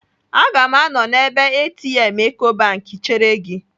Aga m anọ n'ebe ATM Ecobank chere gị.